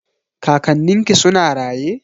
Kakannin ki suna raye?